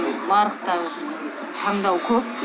нарықта таңдау көп